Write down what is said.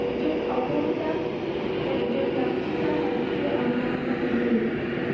একজন অপহৃতা, একজন লাঞ্ছিতা নারীত্বের অবমাননা উভয়ই,